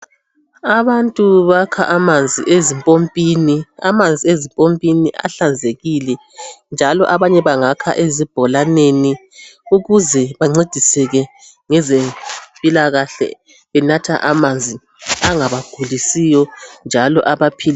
Abantu bakha amanzi ezimpompini. Amanzi ezimpompini ahlanzekile, njalo abanye bangakha ezibholaneni ukuze bancediseke ngezemphilakahle benatha amanzi engabagulisiyo, njalo abaphilisayo.